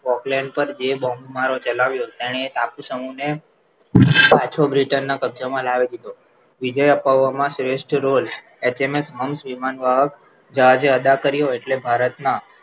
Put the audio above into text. Auckland પર જે bomb મારુ ચલાવ્યો તેણે ટાપુ સમૂહ પર પાછો britain ના કબજામાં લાવી દીધો વિજય ભવમાં શ્રેષ્ઠ રોલ એસએમએસ hums વિમાન વાહક જહાજે અદા કર્યો એટલે